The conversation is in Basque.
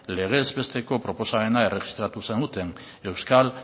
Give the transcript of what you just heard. legez besteko proposamena erregistratu zenuten euskal